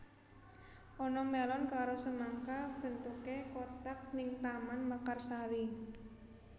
Ana melon karo semangka bentuke kotak ning Taman Mekarsari